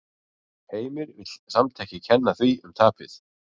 Heimir vill samt ekki kenna því um tapið.